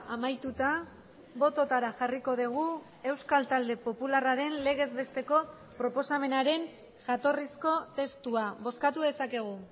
amaituta bototara jarriko dugu euskal talde popularraren legezbesteko proposamenaren jatorrizko testua bozkatu dezakegu